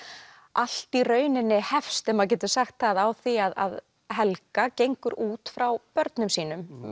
allt í rauninni hefst ef maður getur sagt það á því að Helga gengur út frá börnum sínum